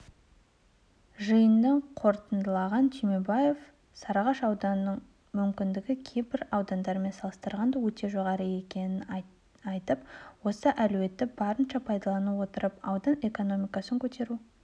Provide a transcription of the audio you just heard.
жиынды қорытындылаған түймебаев сарыағаш ауданының мүмкіндігі кейбір аудандармен салыстырғанда өте жоғары екенін айтып осы әлеуетті барынша пайдалана отырып аудан экономикасын көтеру